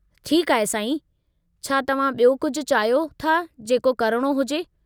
ठीकु आहे साईं, छा तव्हां ॿियो कुझु चाहियो था जेको करणो हुजे?